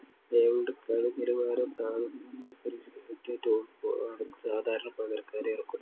അയാളുടെ കളിനിലവാരം താഴുന്നുവെന്ന് പരിശീലകനു തോന്നുമ്പോഴോ ആണ്‌ സാധാരണ പകരക്കാരെ ഇറക്കുന്നത്‌.